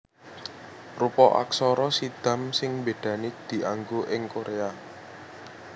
Rupa aksara Siddham sing mbédani dianggo ing Koréa